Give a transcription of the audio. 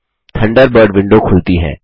Thunderbird window खुलती है